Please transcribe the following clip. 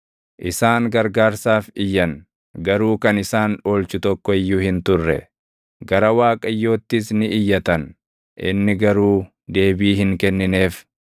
Isaan gargaarsaaf iyyan; garuu kan isaan oolchu tokko iyyuu hin turre; gara Waaqayyoottis ni iyyatan; inni garuu deebii hin kennineef.